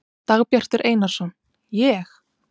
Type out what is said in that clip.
Dagbjartur Einarsson: Ég?